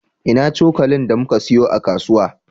Ina cokalin da muka siyo a kasuwa?